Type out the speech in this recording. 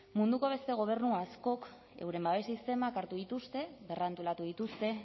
munduko beste gobernu askok euren babes sistemak hartu dituzte berrantolatu dituzte